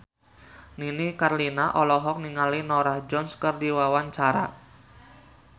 Nini Carlina olohok ningali Norah Jones keur diwawancara